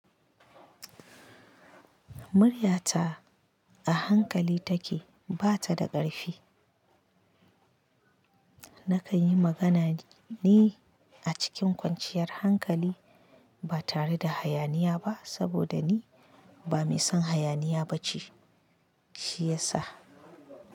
Muryata a hankali take, ba ta da ƙarfi. Nakan yi magana ne a cikin kwanciyar hankali ba tare da hayaniya ba saboda ni ba mai son hayaniya ba ce, shi ya sa.